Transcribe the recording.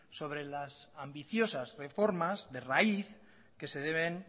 sobre las ambiciosas reformas de raíz que se deben